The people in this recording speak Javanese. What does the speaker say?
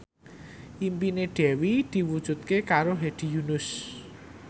impine Dewi diwujudke karo Hedi Yunus